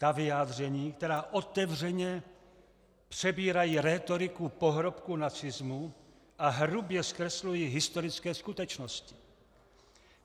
Ta vyjádření, která otevřeně přebírají rétoriku pohrobků nacismu a hrubě zkreslují historické skutečnosti.